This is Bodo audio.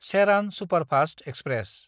Cheran superfast express